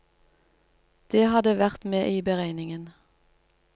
Det hadde vært med i beregningen.